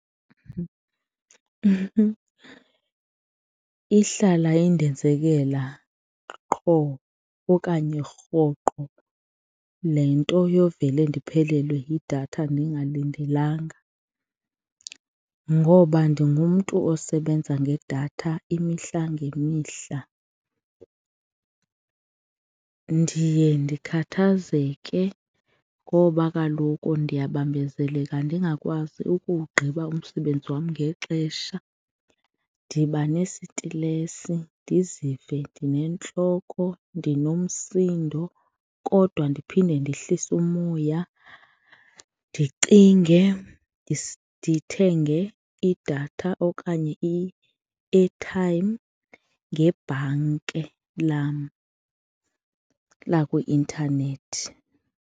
Ihlala indenzekela qho okanye rhoqo le nto yovele ndiphelelwe yidatha ndingalindelanga ngoba ndingumntu osebenza ngedatha imihla ngemihla, ndiye ndikhathazeke ngoba kaloku ndiyabambezeleka ndingakwazi ukuwugqiba umsebenzi wam ngexesha. Ndiba nesitilesi ndizive ndinentloko, ndinomsindo kodwa ndiphinde ndehlise umoya ndicinge ndithenge idatha okanye i-airtime ngebhanke lam lakwi-intanethi.